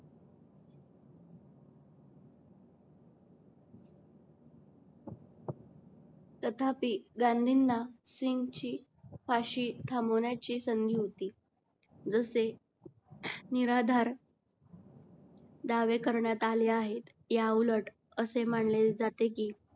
तथापि गांधींना सिंग ची फाशी थांबवण्याची संधी होती. जसे निराधार दवे करण्यात आले आहेत या उलट असे मानले जाते कि